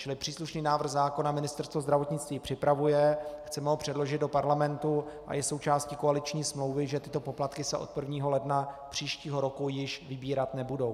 Čili příslušný návrh zákona Ministerstvo zdravotnictví připravuje, chceme ho předložit do parlamentu a je součástí koaliční smlouvy, že tyto poplatky se od 1. ledna příštího roku již vybírat nebudou.